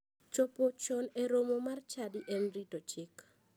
Chopo chon e romo mar chadi en rito chik.